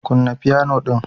Kunna piano din